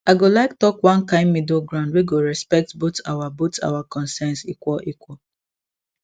i go like talk one kind middle ground wey go respect both our both our concerns equal equal